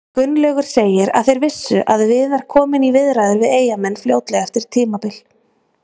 Gunnlaugur segir að þeir vissu að Viðar kominn í viðræður við Eyjamenn fljótlega eftir tímabil.